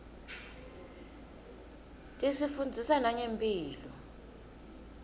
tisifundzisa nangemphilo